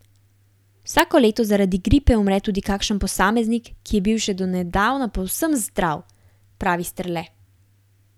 Vsako leto zaradi gripe umre tudi kakšen posameznik, ki je bil še do nedavna povsem zdrav, pravi Strle.